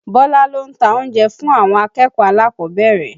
Bọ́lá ló ń ta oúnjẹ fún àwọn akẹ́kọ̀ọ́ alákọ̀ọ́bẹ̀rẹ̀